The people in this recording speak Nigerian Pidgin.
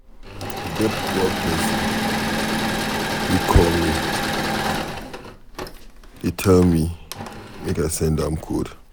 E get one person wey call me dey tell me make I send am code